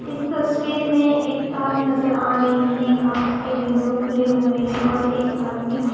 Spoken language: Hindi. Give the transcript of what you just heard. इस तस्वीर में एक कार नजर आ रही है कांच के विंडो खुले हुए हैं और एक आदमी--